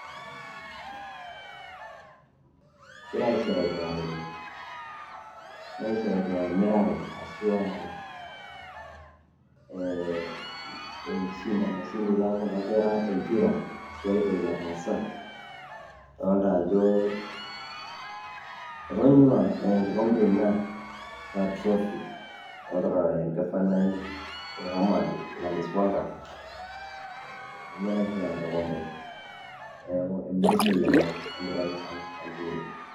engirae aisherekea tene, aisherekea emirare ashu aaa enkishinda naishinda kuna kera empira ashu aitoki natasa adolita ajo etonyua na enkikombe ina ashu aa trophy adolita olgavanai eeh homa bae gladies wanga ee ninye naisho ina kikombe adolita ajo emirishoi ena nagirae ashangilia.